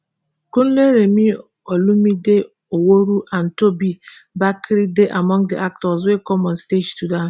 kunle remi olumide oworu and tobi bakre dey among di actors wey come on stage to dance